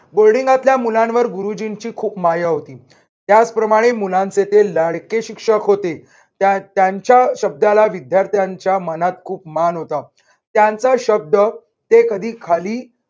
boarding तल्या मुलांवर गुरुजींची खूप माया होती. त्याचप्रमाणे मुलांचे ते लाडके शिक्षक होते. त्या त्यांच्या शब्दाला विद्यार्थ्यांच्या मनात खूप मान होता. त्यांचा शब्द ते कधी खाली